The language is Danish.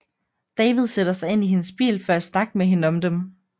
David sætter sig ind i hendes bil for at snakke med hende om dem